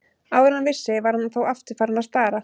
Áður en hann vissi var hann þó aftur farinn að stara.